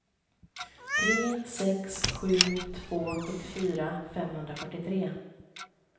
tre sex sju två sjuttiofyra femhundrafyrtiotre